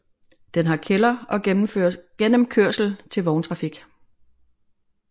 Den har kælder og gennemkørsel til vogntrafik